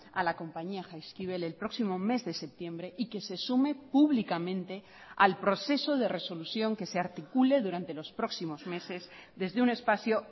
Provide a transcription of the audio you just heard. a la compañía jaizkibel el próximo mes de septiembre y que se sume públicamente al proceso de resolución que se articule durante los próximos meses desde un espacio